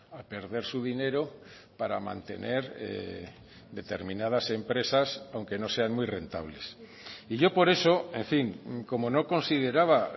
a perder su dinero para mantener determinadas empresas aunque no sean muy rentables y yo por eso en fin como no consideraba